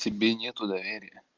тебе нету доверия